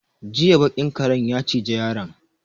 Jiya baƙin karen ya ciji yaron.